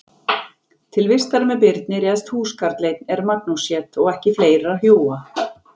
Til vistar með Birni réðst húskarl einn er Magnús hét og ekki fleira hjúa.